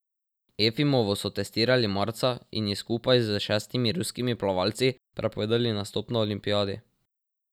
Efimovo so testirali marca in ji skupaj s šestimi ruskimi plavalci prepovedali nastop na olimpijadi.